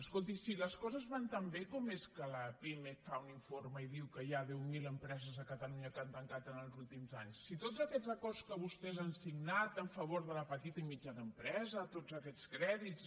escolti si les coses van tan bé com és que la pimec fa un informe i diu que hi ha deu mil empreses a catalunya que han tancat els últims anys si tots aquests acords que vostès han signat en favor de la petita i mitjana empresa tots aquests crèdits